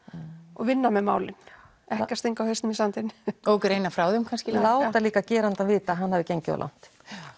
og vinna með málin ekki stinga hausnum í sandinn og greina frá þeim láta líka gerandann vita að hann hafi gengið of langt